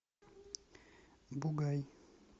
бугай